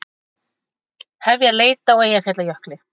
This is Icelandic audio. Hefja leit á Eyjafjallajökli